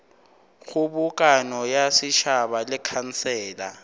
kgobokano ya setšhaba le khansele